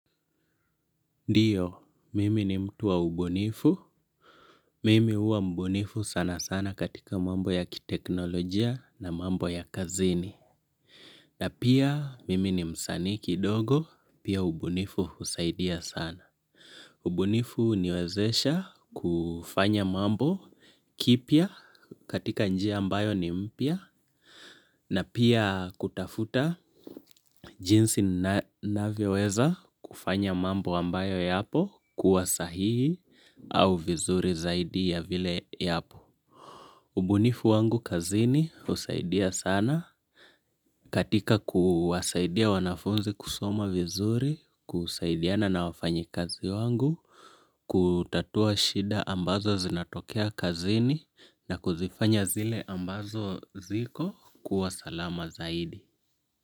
Ndiyo, mimi ni mtu wa ubunifu. Mimi huwa ubunifu sana sana katika mambo ya kiteknolojia na mambo ya kazini. Na pia mimi ni msani kidogo, pia ubunifu husaidia sana. Ubunifu huniwezesha kufanya mambo, kipya katika njia ambayo ni mpya, na pia kutafuta jinsi ninavyoweza kufanya mambo ambayo yapo kuwa sahihi au vizuri zaidi ya vile yapo. Ubunifu wangu kazini husaidia sana katika kuwasaidia wanafunzi kusoma vizuri, kusaidiana na wafanyikazi wangu, kutatua shida ambazo zinatokea kazini na kuzifanya zile ambazo ziko kuwa salama zaidi.